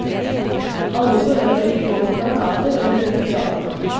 Alle behøver ikke gå med plakater eller ut i gatene.